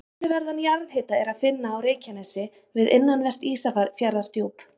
Töluverðan jarðhita er að finna á Reykjanesi við innanvert Ísafjarðardjúp.